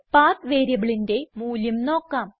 പത്ത് വേരിയബിളിന്റെ മൂല്യം നോക്കാം